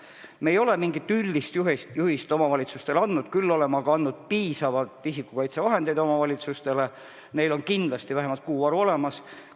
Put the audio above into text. Me ei ole mingit üldist juhist omavalitsustele andnud, küll aga oleme neile andnud piisavalt isikukaitsevahendeid, neil on kindlasti vähemalt kuu varu olemas.